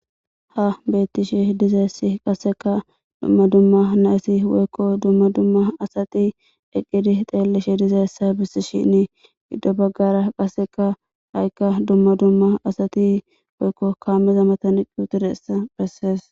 ha beettishe dizayssi qasseka dumma dumma nayssi woykko dumma dumma asati eqqidi xeelishi dizeessa bissishini giddo baggara qasseka haykka dumma dumma asati woykko kaameza matani quutudessa bessees